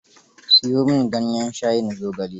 Siyo min ganyen shayin zogale.